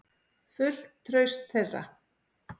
Fullt traust þeirra.